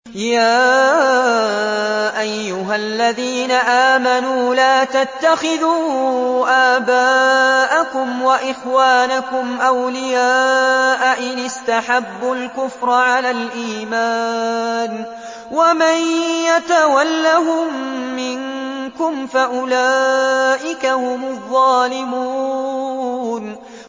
يَا أَيُّهَا الَّذِينَ آمَنُوا لَا تَتَّخِذُوا آبَاءَكُمْ وَإِخْوَانَكُمْ أَوْلِيَاءَ إِنِ اسْتَحَبُّوا الْكُفْرَ عَلَى الْإِيمَانِ ۚ وَمَن يَتَوَلَّهُم مِّنكُمْ فَأُولَٰئِكَ هُمُ الظَّالِمُونَ